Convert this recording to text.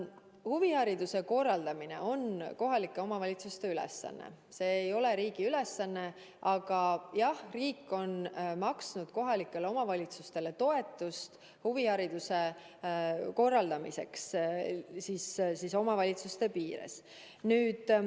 Huvihariduse korraldamine on kohalike omavalitsuste ülesanne, see ei ole riigi ülesanne, aga jah, riik on maksnud kohalikele omavalitsustele toetust huvihariduse korraldamiseks omavalitsuste piires.